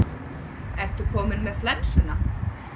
Ertu kominn með flensuna?